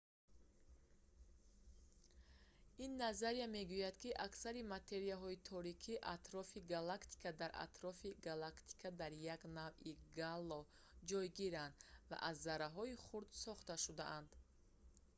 ин назария мегӯяд ки аксари материяҳои торики атрофи галактика дар атрофи галактика дар як навъи гало ҳалқаи атрофи сайёра ҷойгиранд ва аз зарраҳои хурд сохта шудаанд